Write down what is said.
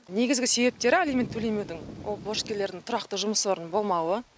негізгі себептері алимент төлемеудің ол борышкерлердің тұрақты жұмыс орынның болмауы